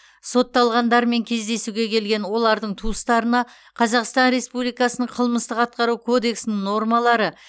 сотталғандармен кездесуге келген олардың туыстарына қазақстан республикасының қылмыстық атқару кодексінің нормалары